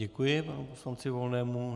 Děkuji panu poslanci Volnému.